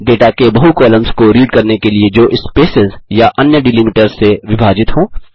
data के बहु columns को रीड करने के लिए जो स्पेसेस या अन्य डीलिमिटर्स से विभाजित हो